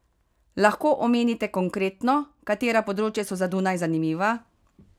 Lahko omenite konkretno, katera področja so za Dunaj zanimiva?